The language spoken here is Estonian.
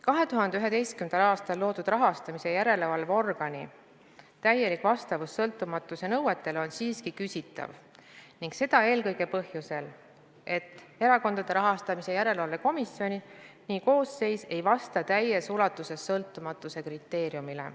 2011. aastal loodud rahastamise järelevalve organi täielik vastavus sõltumatuse nõuetele on siiski küsitav ning seda eelkõige põhjusel, et Erakondade Rahastamise Järelevalve Komisjoni koosseis ei vasta täies ulatuses sõltumatuse kriteeriumile.